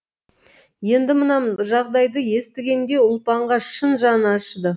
енді мына жағдайды естігенде ұлпанға шын жаны ашыды